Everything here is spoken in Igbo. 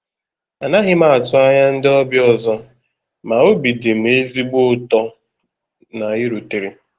A naghị m atụ anya ndị ọbịa ọzọ, ma obi dị m ezigbo ụtọ na i rutere.